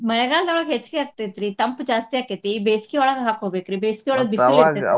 ಮಳೆಗಾಲ್ದೊಳಗ ಹೆಚ್ಚಗಿ ಆಗ್ತೈತ್ರಿ ತಂಪ್ ಜಾಸ್ತಿ ಆಕ್ಕೇತಿ. ಬೆಸ್ಗಿಯೊಳಗ ಹಾಕ್ಕೊಬೇಕ್ರಿ. ಬೆಸ್ಗಿಯೊಳಗ .